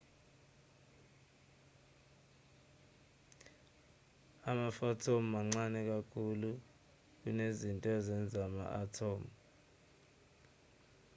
ama-phothon mancane kakhulu kunezinto ezenza ama-athomu